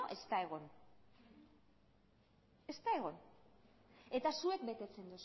ez da egon ez da egon eta zuek betetzen